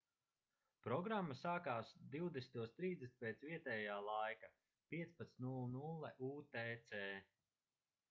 programma sākās 20:30 pēc vietējā laika 15:00 utc